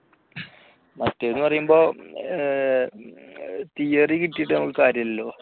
മറ്റേന്ന് പറയുമ്പോൾ theory കിട്ടിയിട്ട് നമുക്ക് കാര്യമില്ലല്ലോ